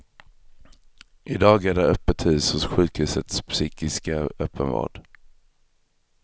I dag är det öppet hus hos sjukhusets psykiska öppenvård.